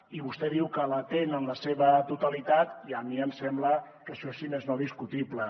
i vostè diu que l’atén en la seva totalitat i a mi em sembla que això és si més no discutible